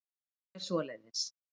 Hún er svoleiðis.